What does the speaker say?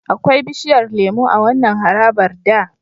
Akwai bishiyar lemo a wannan harabar da.